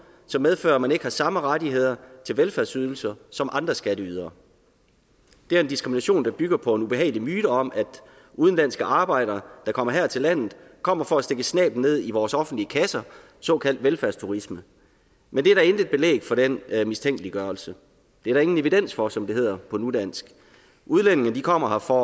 som medfører at man ikke har samme rettigheder til velfærdsydelser som andre skatteydere det er en diskrimination der bygger på en ubehagelig myte om at udenlandske arbejdere der kommer her til landet kommer for at stikke snablen ned i vores offentlige kasser såkaldt velfærdsturisme men der er intet belæg for den mistænkeliggørelse det er der ingen evidens for som det hedder på nudansk udlændinge kommer her for